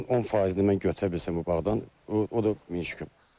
Onun 10%-ni mən götürə bilsəm bu bağdan, o da min şükür.